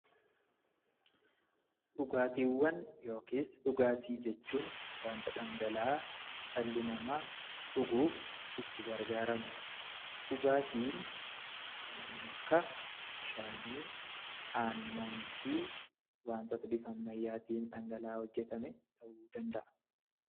Dhugaatiiwwan (dhugaatii ) jechuun wanta dhangala'aa dhalli namaa dhuguuf itti gargaaramuu dha. Dhugaatiin kanneen akka bishaanii, aannanii fi wantoota bifa ammayyaatiin dhangala'aa hojjetame ta'uu danda'a.